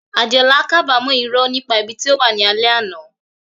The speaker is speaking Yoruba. Adeola kábàámọ̀ irọ́ nípa ibi tí ó wà ní alẹ́ àná.